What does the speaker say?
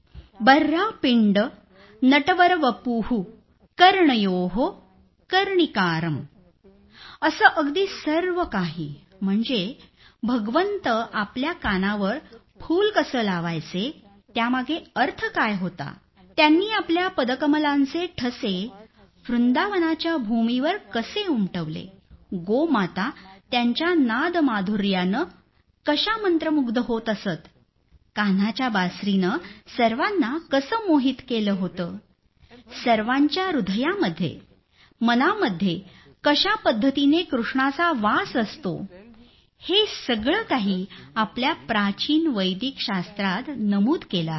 बर्हापींड नटवरवपुः कर्णयोः कर्णिकारं असं अगदी सर्वकाही म्हणजे ईश्वर आपल्या कानावर फूल कसं लावायचे त्यामागे अर्थ काय होता त्यांनी आपल्या पदकमलांचे ठसे वृंदावनाच्या भूमीवर कसे उमटवले गोमाता त्यांच्या नादमाधुर्यानं कशा मंत्रमुग्ध होत असत कान्हाच्या बासुरीनं सर्वांना कसं मोहित केलं होतं सर्वांच्या हृदयामध्ये मनामध्ये कशा पद्धतीनं कृष्णाचा वास असतो हे सगळं सगळं काही आपल्या प्राचीन वेदिक शास्त्रात नमूद केलं आहे